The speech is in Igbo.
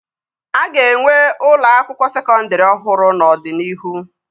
A ga-enwe ụlọ akwụkwọ sekọndri ọhụrụ n'ọdịnihu